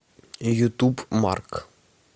ютуб марк